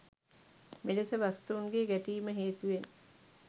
මෙලෙස වස්තූන්ගේ ගැටීම හේතුවෙන්